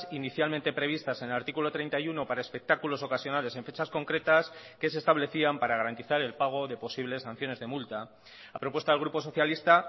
inicialmente previstas en el artículo treinta y uno para espectáculos ocasionales en fechas concretas que se establecían para garantizar el pago de posibles sanciones de multa a propuesta del grupo socialista